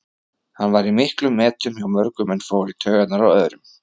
Hann var í miklum metum hjá mörgum en fór í taugarnar á öðrum.